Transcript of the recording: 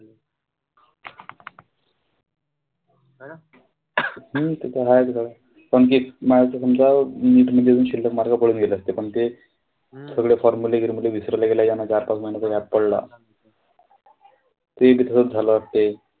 नाई ते त हायेच गड्या. मागे शिल्लक mark पडून गेले असते पण ते सगळे formerly विसरले अन चार-पाच महिन्याचा gap पडला. ते,